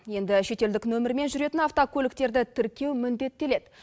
енді шетелдік нөмірмен жүретін автокөліктерді тіркеу міндеттеледі